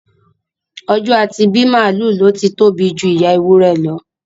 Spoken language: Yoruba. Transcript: Ọjọ́ a ti bí màálù ló ti tóbi ju ìyá ewúrẹ́ lọ